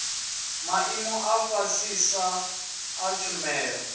maimo a fhasisa a tshumelo